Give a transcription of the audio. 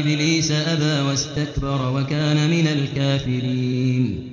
إِبْلِيسَ أَبَىٰ وَاسْتَكْبَرَ وَكَانَ مِنَ الْكَافِرِينَ